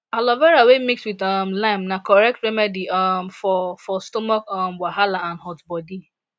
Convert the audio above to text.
aloe vera wey mix with um lime na correct remedy um for for stomach um wahala and hot body